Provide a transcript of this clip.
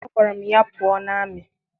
Agwara m ya pụọ na amị!